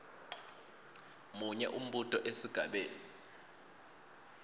munye umbuto esigabeni